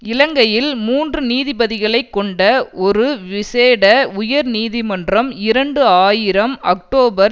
இலங்கையில் மூன்று நீதிபதிகளை கொண்ட ஒரு விசேட உயர்நீதிமன்றம் இரண்டு ஆயிரம் அக்டோபர்